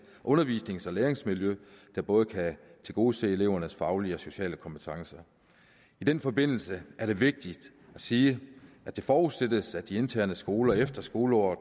undervisnings og læringsmiljø der både kan tilgodese elevernes faglige og sociale kompetencer i den forbindelse er det vigtigt at sige at det forudsættes at de interne skoler efter skoleåret